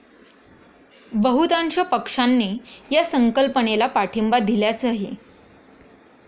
बहुतांश पक्षांनी या संकल्पनेला पाठिंबा दिल्याचंही